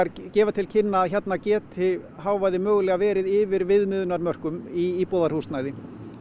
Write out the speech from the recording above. gefa til kynna að hérna geti hávaði mögulega verið yfir viðmiðunarmörkum í íbúðarhúsnæði